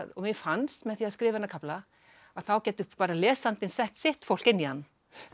og mér fannst með því að skrifa þennan kafla að þá gæti bara lesandinn sett sitt fólk inn í hann en